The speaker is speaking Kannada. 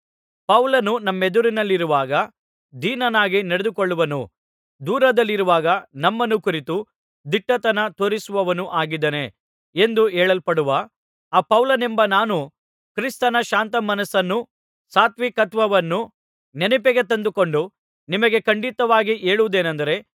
ಪೌಲನು ನಮ್ಮೆದುರಿನಲ್ಲಿರುವಾಗ ದೀನನಾಗಿ ನಡೆದುಕೊಳ್ಳುವನೂ ದೂರದಲ್ಲಿರುವಾಗ ನಮ್ಮನ್ನು ಕುರಿತು ದಿಟ್ಟತನ ತೋರಿಸುವವನೂ ಆಗಿದ್ದಾನೆ ಎಂದು ಹೇಳಲ್ಪಡುವ ಆ ಪೌಲನೆಂಬ ನಾನು ಕ್ರಿಸ್ತನ ಶಾಂತ ಮನಸ್ಸನ್ನೂ ಸಾತ್ವಿಕತ್ವವನ್ನೂ ನೆನಪಿಗೆ ತಂದುಕೊಂಡು ನಿಮಗೆ ಖಂಡಿತವಾಗಿ ಹೇಳುವುದೇನಂದರೆ